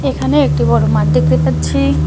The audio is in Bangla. এখানে একটি বড় মাঠ দেখতে পাচ্ছি।